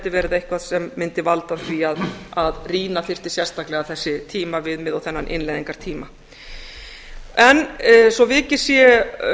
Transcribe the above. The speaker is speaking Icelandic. verið eitthvað sem mundi valda því að rýna þyrfti sérstaklega þessi tímaviðmiðin og þennan innleiðingartímann svo vikið sé